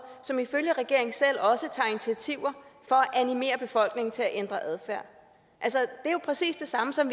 som ifølge regeringen selv også tager initiativer for at animere befolkningen til at ændre adfærd det er jo præcis det samme som